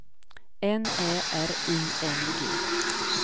N Ä R I N G